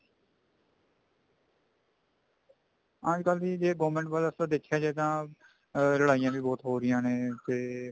ਅੱਜਕਲ ਦੀ government ਵੱਲ ਜੇ ਦੇਖਿਆ ਜਾਵੇ ਤਾਂ ਲੜਾਈਆਂ ਵੀ ਬਹੁਤ ਹੋ ਰਹੀਆਂ ਨੇ ਤੇ